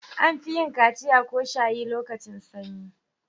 An fi yin kaciya/shayi lokacin sanyi.